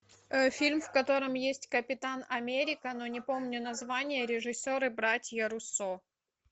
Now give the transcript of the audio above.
фильм в котором есть капитан америка но не помню название режиссеры братья руссо